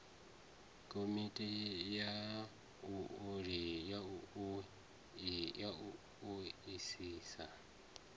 komiti ya u o isisa